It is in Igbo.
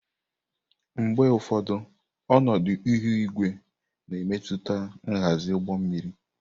Mgbe ụfọdụ, ọnọdụ ihu igwe na-emetụta nhazi ụgbọ mmiri.